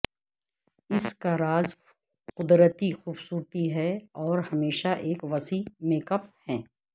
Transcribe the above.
اس کا راز قدرتی خوبصورتی ہے اور ہمیشہ ایک وسیع میک اپ ہے